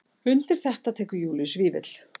Undir þetta tekur Júlíus Vífill.